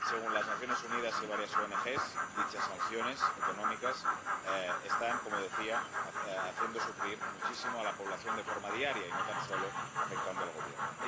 Según las Naciones Unidas y varias ONG dichas sanciones económicas están haciendo sufrir muchísimo a la población de forma diaria y no tan solo afectan al Gobierno.